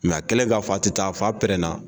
a kelen k'a fɔ a ti taa fa pɛrɛnna